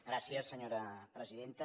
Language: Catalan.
gràcies senyora presidenta